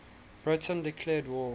britain declared war